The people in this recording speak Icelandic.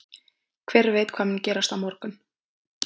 Hver veit hvað mun gerast á morgun?